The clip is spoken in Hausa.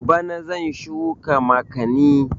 Bana zan shuka makani